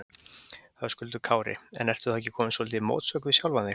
Höskuldur Kári: En ertu þá ekki kominn svolítið í mótsögn við sjálfan sig?